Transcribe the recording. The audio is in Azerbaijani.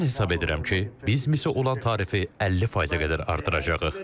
Mən hesab edirəm ki, biz misə olan tarifi 50%-ə qədər artıracağıq.